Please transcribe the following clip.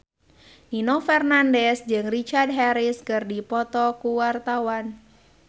Nino Fernandez jeung Richard Harris keur dipoto ku wartawan